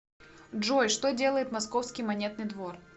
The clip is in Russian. джой что делает московский монетный двор